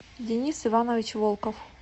денис иванович волков